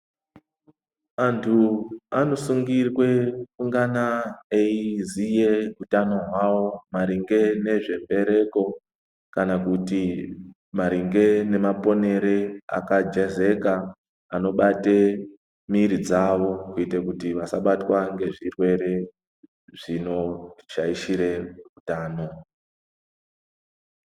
Antu anosungirwe kungana eiziye utano hwawo maringe nezvembereko kana kuti naringe nemaponere akajezeka anobate miiri dzavo kuite kuti vasabatwa ngezvirwere zvinoshaishire utano.